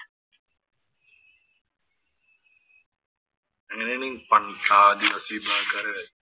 അങ്ങനെയാണ്